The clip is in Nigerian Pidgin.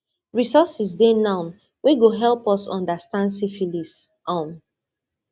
resources dey now wey go help us understand syphilis um